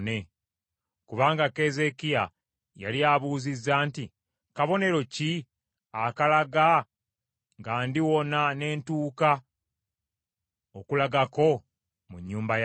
Kubanga Keezeekiya yali abuuzizza nti, “Kabonero ki akalaga nga ndiwona ne ntuuka okulagako mu nnyumba ya Mukama ?”